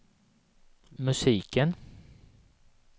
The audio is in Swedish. musiken